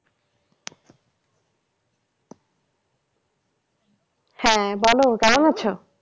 হ্যাঁ বলো কেমন আছো?